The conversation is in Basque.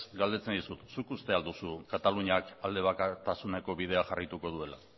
galdetzen dizut zuk uste duzu kataluniak aldebakartasuneko bidea jarraituko duela